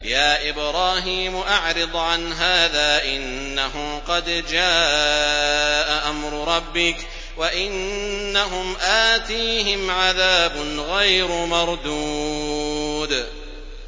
يَا إِبْرَاهِيمُ أَعْرِضْ عَنْ هَٰذَا ۖ إِنَّهُ قَدْ جَاءَ أَمْرُ رَبِّكَ ۖ وَإِنَّهُمْ آتِيهِمْ عَذَابٌ غَيْرُ مَرْدُودٍ